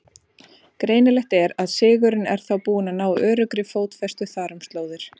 Greinilegt er, að siðurinn er þá búinn að ná öruggri fótfestu þar um slóðir.